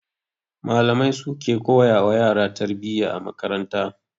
Malamai su suke koya wa yara tarbiyya a makaranta